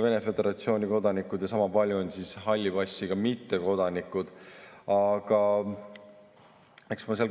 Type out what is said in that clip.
Vene föderatsiooni kodanikud ja sama palju on halli passiga mittekodanikke.